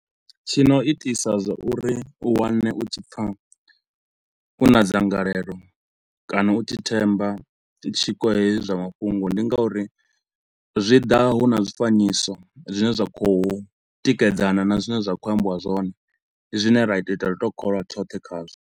Tshi no itisa zwa uri u wane u tshi pfa u na dzangalelo kana u tshi themba tshiko hezwi zwa mafhungo ndi nga uri zwi ḓa hu na zwifanyiso zwine zwa khou tikedzana na zwine zwa khou ambiwa zwone, ndi zwine ra to u ita ri tou kholwa tshothe khazwo.